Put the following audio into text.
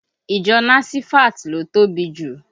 Ìjọ nasifat ló tóbi jù